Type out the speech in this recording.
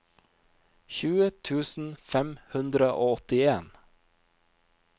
tjue tusen fem hundre og åttien